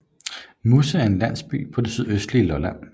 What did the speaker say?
Musse er en landsby på det sydøstlige Lolland